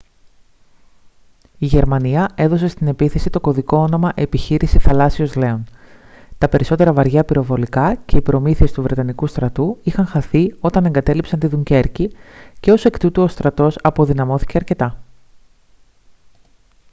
η γερμανία έδωσε στην επίθεση το κωδικό όνομα «επιχείρηση θαλάσσιος λέων». τα περισσότερα βαριά πυροβολικά και οι προμήθειες του βρετανικού στρατού είχαν χαθεί όταν εγκατέλειψαν τη δουνκέρκη και ως εκ τούτου ο στρατός αποδυναμώθηκε αρκετά